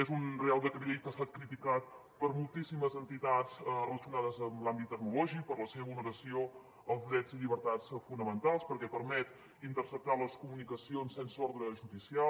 és un reial decret llei que ha estat criticat per moltíssimes entitats relacionades amb l’àmbit tecnològic per la seva vulneració als drets i llibertats fonamentals perquè permet interceptar les comunicacions sense ordre judicial